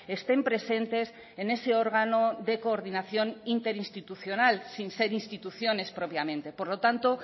estén presentes en ese órgano de coordinación interinstitucional sin ser instituciones propiamente por lo tanto